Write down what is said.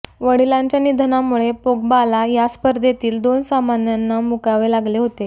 वडिलांच्या निधनामुळे पोग्बाला या स्पर्धेतील दोन सामन्यांना मुकावे लागले होते